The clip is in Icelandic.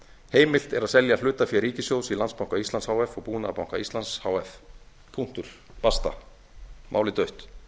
heimilt er að selja hlutafé ríkissjóðs í landsbanka íslands h f og búnaðarbanka íslands h f punktur basta málið dautt